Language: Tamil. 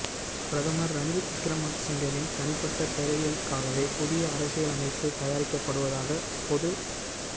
பிரதமர் ரணில் விக்கிரமசிங்கவின் தனிப்பட்ட தேவைகளுக்காகவே புதிய அரசியலமைப்பு தயாரிக்கப்படுவதாக பொது ஜ